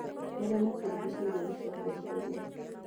maria maturigicĩĩrie gucokia ciuria